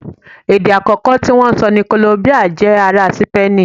Èdè àkọ́kọ́ tí wọ́n ń sọ ní Kòlóńbíà jẹ́ ará Sípéènì